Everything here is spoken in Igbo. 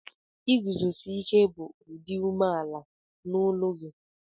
Iguzosike bu idi ume ala n'olụ gi